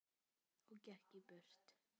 Og gekk í burtu.